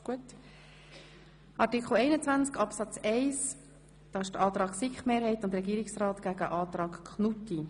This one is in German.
– Bei Artikel 21 Absatz 1 wird der Antrag SiK-Mehrheit und Regierungsrat dem Antrag Knutti gegenübergestellt.